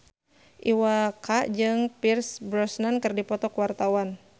Iwa K jeung Pierce Brosnan keur dipoto ku wartawan